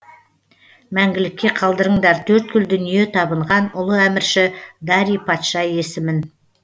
мәңгілікке қалдырыңдар төрткүл дүние табынған ұлы әмірші дарий патша есімін